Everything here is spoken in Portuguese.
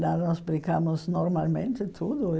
Lá nós brincamos normalmente, tudo.